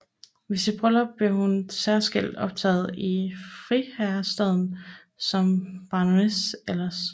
Ved sit bryllup blev hun særskilt optaget i friherrestanden som baronesse Elers